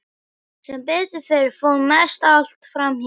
Sem betur fer fór mest allt fram hjá.